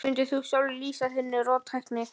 Hvernig mundir þú sjálfur lýsa þinni róttækni?